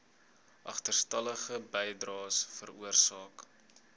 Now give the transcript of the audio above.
agterstallige bydraes veroorsaak